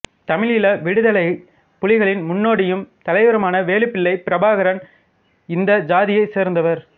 தமிழீழ விடுதலைப் புலிகளின் முன்னோடியும் தலைவருமான வேலுப்பிள்ளை பிரபாகரன் இந்தச் சாதியைச் சேர்ந்தவர்